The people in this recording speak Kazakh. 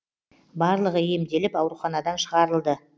барлығы емделіп ауруханадан шығарылды